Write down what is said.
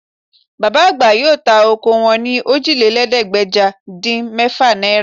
Bàbá àgbà yóò ta ọkọ wọn ní Òjìlélẹ́ẹ̀ẹ́dégbèje-dín-mẹ́fà náírà